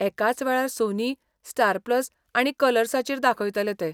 एकाच वेळार Sony, Star Plus आनी कलर्साचेर दाखयतले ते.